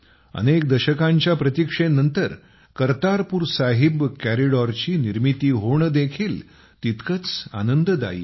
अनेक दशकांच्या प्रतीक्षेनंतर कर्तारपूर साहिब कॉरिडॉरची निर्मिती होणे देखील तितकेच आनंददायी आहे